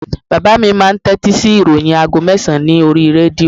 Bàbá mi máà ń tẹ́tí sí ìròyìn aago mẹ́sàn-án ní oríi rédíò